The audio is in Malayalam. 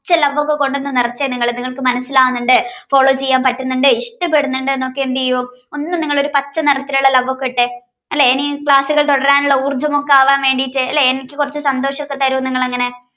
love ഒക്കെ കൊണ്ട് നിറച്ച നിങ്ങൾക്ക് മനസ്സിലാകുന്നുണ്ട് follow ചെയ്യാൻ പറ്റുന്നുണ്ട് ഇഷ്ടപ്പെടുന്നുണ്ട് എന്നൊക്കെ എന്തെയ്യൂ ഒന്ന് നിങ്ങൾ പച്ച നിറത്തിലുള്ള love ഒക്കെ ഇട്ടേ. അല്ലെ ഇനി class കൾ തുടരാനുള്ള ഊർജ്ജമൊക്കെ ആവാൻ വേണ്ടിയിട്ട് ലെ എനിക്ക് കുറച്ച് സന്തോഷം ഒക്കെ തരൂ നിങ്ങൾ അങ്ങനെ